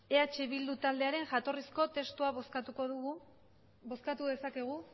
eh bildu taldearen jatorrizko testua bozkatuko dugu bozkatu dezakegu